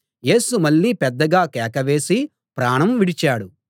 యేసు మళ్ళీ పెద్దగా కేక వేసి ప్రాణం విడిచాడు